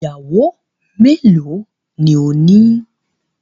Iyàwọ́ mẹ́lọ̀ ni òní?